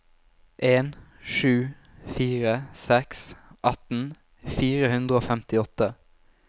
en sju fire seks atten fire hundre og femtiåtte